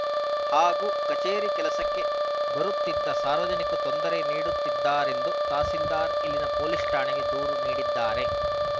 ಹಾಗೂ ಕಚೇರಿ ಕೆಲಸಕ್ಕೆ ಬರುತ್ತಿದ್ದ ಸಾರ್ವಜನಿಕ್ ತೊಂದರೆ ನೀಡಿದ್ದಾರೆಂದು ತಹಸೀಲ್ದಾರ್‌ ಇಲ್ಲಿನ ಪೊಲೀಸ್‌ ಠಾಣೆ ದೂರು ನೀಡಿದ್ದಾರೆ